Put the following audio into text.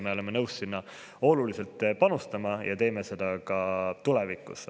Me oleme nõus sinna oluliselt panustama ja teeme seda ka tulevikus.